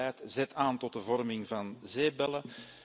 Dit beleid zet aan tot de vorming van zeepbellen.